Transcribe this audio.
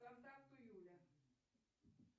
контакту юля